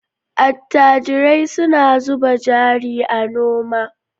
Attajirai suna zuba jari a noma.